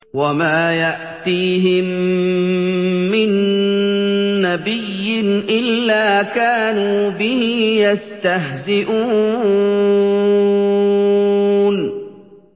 وَمَا يَأْتِيهِم مِّن نَّبِيٍّ إِلَّا كَانُوا بِهِ يَسْتَهْزِئُونَ